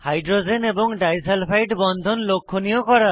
hydrogen এবং disulphide বন্ধন লক্ষনীয় করা